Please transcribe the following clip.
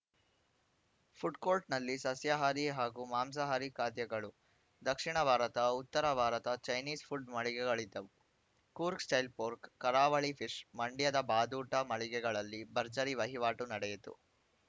ಫುಡ್‌ಕೋರ್ಟ್‌ನಲ್ಲಿ ಸಸ್ಯಹಾರಿ ಹಾಗೂ ಮಾಂಸಹಾರಿ ಖಾದ್ಯಗಳು ದಕ್ಷಿಣ ಭಾರತ ಉತ್ತರ ಭಾರತ ಚೈನಿಸ್‌ ಫುಡ್‌ ಮಳಿಗೆಗಳಿದ್ದವು ಕೂರ್ಗ್‌ ಸ್ಟೈಲ್‌ ಫೋರ್ಕ್ ಕರಾವಳಿ ಫಿಶ್‌ ಮಂಡ್ಯದ ಬಾದೂಟ ಮಳಿಗೆಗಳಲ್ಲಿ ಭರ್ಜರಿ ವಹಿವಾಟು ನಡೆಯಿತು